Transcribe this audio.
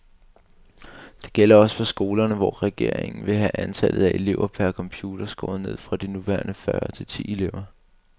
Det gælder også for skolerne, hvor regeringen vil have antallet af elever per computer skåret ned fra de nuværende fyrre til ti elever.